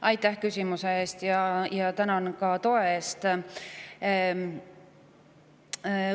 Aitäh küsimuse eest ja tänan ka toe eest!